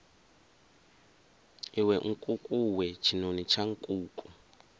iwe nkukuwe tshinoni tsha nkuku